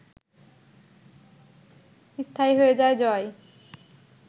স্থায়ী হয়ে যায় জয়